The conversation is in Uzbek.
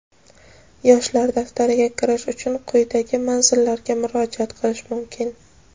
"Yoshlar daftari"ga kirish uchun quidagi manzillarga murojaat qilish mumkin:.